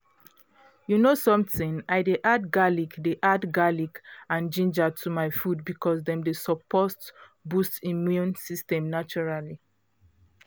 you know something i dey add garlic dey add garlic and ginger to my food because dem dey support boost immune system naturally